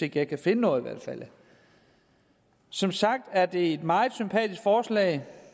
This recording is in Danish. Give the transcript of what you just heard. at jeg kan finde noget som sagt er det et meget sympatisk forslag